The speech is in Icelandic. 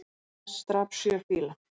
Lest drap sjö fíla